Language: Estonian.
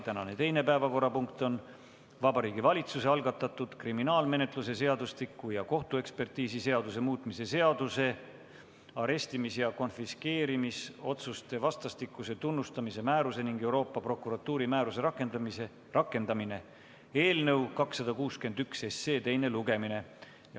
Tänane teine päevakorrapunkt on Vabariigi Valitsuse algatatud kriminaalmenetluse seadustiku ja kohtuekspertiisiseaduse muutmise seaduse eelnõu 261 teine lugemine.